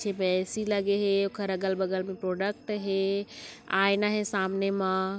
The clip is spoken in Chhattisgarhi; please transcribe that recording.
पीछे मे ऐ_सी लगे हे ओखर अगल-बगल म प्रोडक्ट हे आयना हे सामने मा।